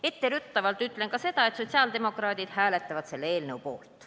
Etteruttavalt ütlen ka seda, et sotsiaaldemokraadid hääletavad selle eelnõu poolt.